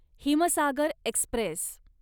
Himsagar Express